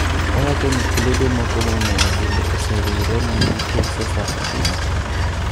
Owacho ni klebe moko momeo bende ose riwre mondo gikel Cecafa piny.